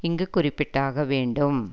இங்கு குறிப்பிட்டாக வேண்டும்